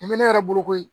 Nin bɛ ne yɛrɛ bolo koyi